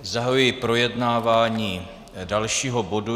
Zahajuji projednávání dalšího bodu.